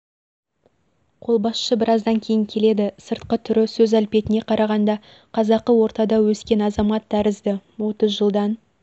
қолбасшы біраздан кейін келеді сыртқы түрі сөз әлпетіне қарағанда қазақты ортада өскен азамат тәрізді отыз жылдан